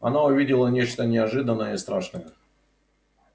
она увидела нечто неожиданное и страшное